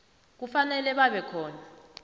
kufanele babe khona